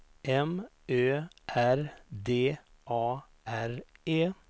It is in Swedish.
M Ö R D A R E